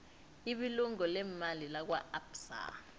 ibulungo leemali lakwaabsa